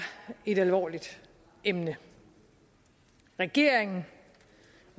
et alvorligt emne regeringen